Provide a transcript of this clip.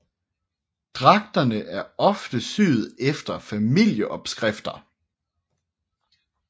Dragterne er ofte syet efter familieopskrifter